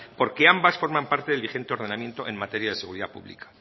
porque ambas forman parte del vigente ordenamiento en materia de seguridad pública